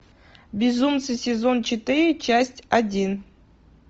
безумцы сезон четыре часть один